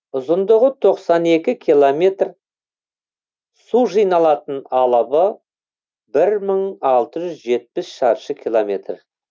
ұзындығы тоқсан екі километр су жиналатын алабы бір мың алты жүз жетпіс шаршы километр